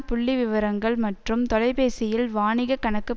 புள்ளிவிவரங்கள் மற்றும் தொலைபேசியில் வாணிகக் கணக்கு